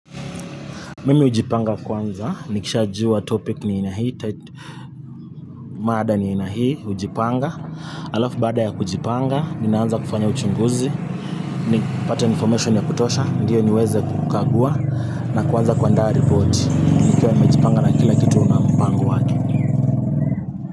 Mimi hujipanga kwanza, nikisha jua topic ni ina hii, maada ni ina hii, hujipanga, halafu baada ya kujipanga, ninaanza kufanya uchunguzi, ninapata information ya kutosha, ndiyo niweze kukagua, na kuanza kuandaa report, nikiwa nimejipanga na kila kitu.na mpango wake.